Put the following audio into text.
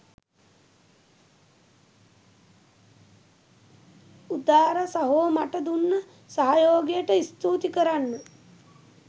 උදාර සහෝ මට දුන්න සහයෝගයට ස්තූති කරන්න